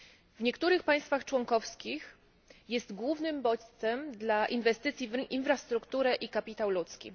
Wniektórych państwach członkowskich jest głównym bodźcem dla inwestycji winfrastrukturę ikapitał ludzki.